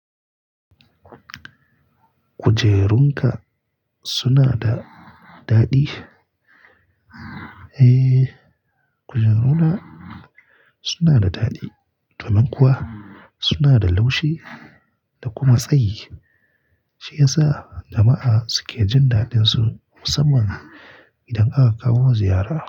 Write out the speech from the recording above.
Kujerunka suna da daɗi? Eh, kujeruna suna da daɗi, to nan kuwa suna da laushi da kuma tsayi, shi yasa jama'a suke jin daɗinsu musamman idan aka kawo ma ziyara.